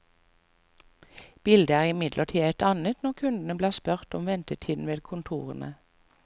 Bildet er imidlertid et annet når kundene blir spurt om ventetiden ved kontorene.